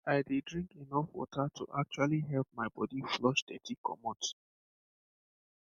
ehn i dey drink enough water to actually help my body flush dirty commot